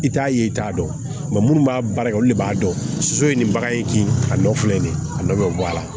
I t'a ye i t'a dɔn minnu b'a baara kɛ olu de b'a dɔn so ye nin bagan in kin a nɔ filɛ nin ye a nɔ bɛ bɔ a la